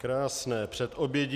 Krásné předobědí.